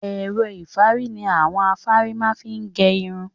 Ẹ̀rọ-ìfárí ni àwọn afárí má fi ń gẹ irun.